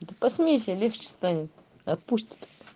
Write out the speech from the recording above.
да посмейся легче станет отпустят